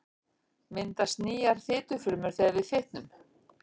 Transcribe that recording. Myndast nýjar fitufrumur þegar við fitnum?